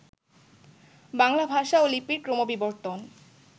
বাংলা ভাষা ও লিপির ক্রমবিবর্তন